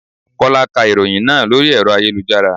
Kọ́lá ká ìròhìn náà lórí ẹ̀rọ ayélujára.